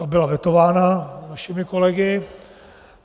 Ta byla vetována našimi kolegy.